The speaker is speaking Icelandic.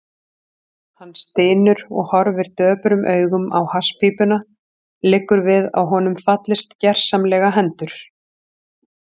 Hann stynur og horfir döprum augum á hasspípuna, liggur við að honum fallist gersamlega hendur.